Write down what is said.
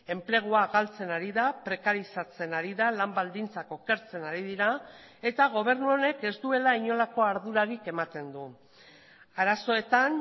enplegua galtzen ari da prekarizatzen ari da lan baldintzak okertzen ari dira eta gobernu honek ez duela inolako ardurarik ematen du arazoetan